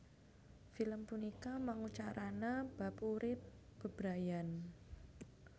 Film punika mangucarana bab urip bebrayan